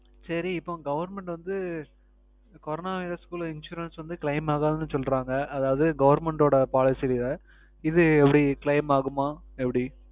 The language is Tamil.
சரி இப்போ Government வந்து Corona years குள்ள Insurance வந்து Claim ஆகாதுனு சொல்றாங்க அதாவுது Government ஓட Policy லேயே இது எப்படி Claim ஆகுமா எப்படி